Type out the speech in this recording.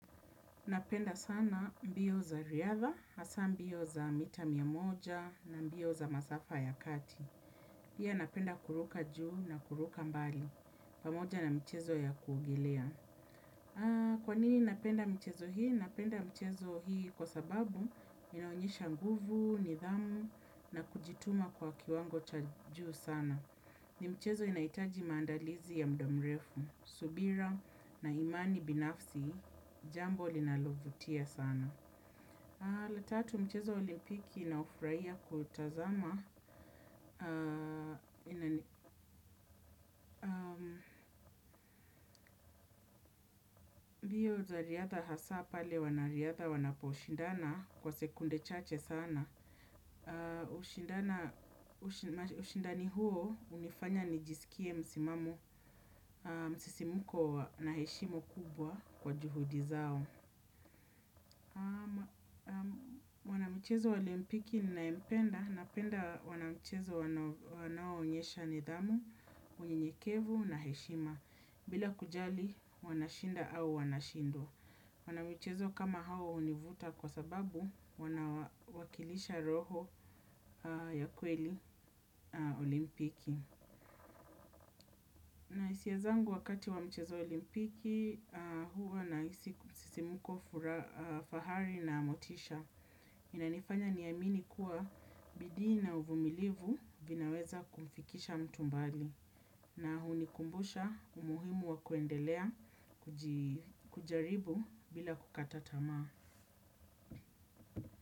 Napenda sana mbio za riadha, hasa mbio za mita mia moja na mbio za masafa ya kati. Pia napenda kuruka juu na kuruka mbali, pamoja na mchezo ya kuogelea. Kwa nini napenda mchezo hii? Napenda mchezo hii kwa sababu inaonyesha nguvu, nidhamu na kujituma kwa kiwango cha juu sana. Ni mchezo inaitaji mandalizi ya mdamrefu, subira na imani binafsi, jambo linalo vutia sana. La tatu mchezo olimpiki na ufrahia kutazama. Mbio za riadha hasa pale wanariatha wanaposhindana kwa sekunde chache sana. Ushindani huo hunifanya nijisikie msimamu msisimuko na heshimo kubwa kwa juhudi zao. Mchezo wa olimpiki ninaempenda, napenda wana mchezo wanao onyesha nidhamu, unyenyekevu na heshima, bila kujali wanashinda au wanashindwa. Wana mchezo kama hawa hunivuta kwa sababu wanawakilisha roho ya kweli olimpiki. Na hisia zangu wakati wa mchezo olimpiki huwa na sisimuko fahari na Motisha. Inanifanya niamini kuwa bidii na uvumilivu vinaweza kumfikisha mtu mbali. Na hunikumbusha umuhimu wa kuendelea kujaribu bila kukata tamaa.